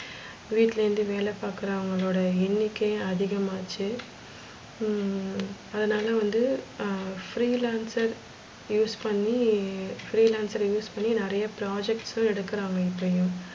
வீட்டுலேந்து வேல பாக்குறவங்கலோட எண்ணிக்கை அதிகமாச்சி. ஹம் அதனால வந்து free lancer use பண்ணி free lancer use பண்ணி நெறைய projects எடுக்குறாங்க இப்பையும்,